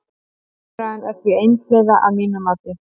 Umræðan er því einhliða að mínu mati.